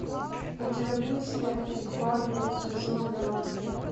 у тебя будет сериальчик фарго сезон два